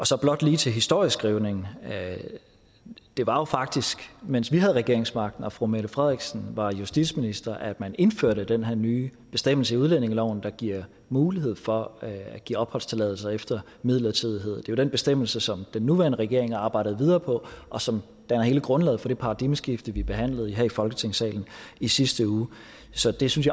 så blot lige til historieskrivningen det var jo faktisk mens vi havde regeringsmagten og fru mette frederiksen var justitsminister at man indførte den her nye bestemmelse i udlændingeloven der giver mulighed for at give opholdstilladelser efter midlertidighed det er jo den bestemmelse som den nuværende regering arbejder videre på og som danner hele grundlaget for det paradigmeskifte vi behandlede her i folketingssalen i sidste uge så det synes